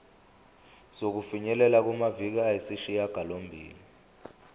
sokufinyelela kumaviki ayisishagalombili